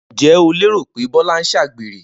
Ǹjé̩ o lérò pé Bó̩lá ń s̩àgbèrè?